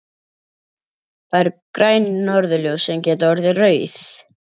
Það eru græn norðurljós sem geta orðið rauð.